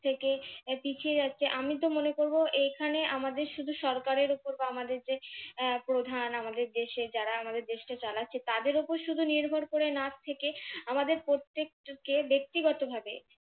থেকে পিছিয়ে যাচ্ছে আমি তো মনে করবো এইখানে আমাদের শুধু সরকারের উপর আমাদের যে প্রধান আমাদের দেশে যারা আমাদের দেশকে চালাচ্ছে তাদের উপর শুধু নির্ভর করে না থেকে আমাদের প্রত্যেককে ব্যক্তিগতভাবে